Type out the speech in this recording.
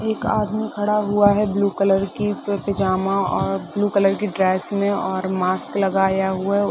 एक आदमी खड़ा हुआ है ब्लू कलर की प पेजामा और ब्लू की ड्रेस में और मास्क लगाया हुआ है ओ।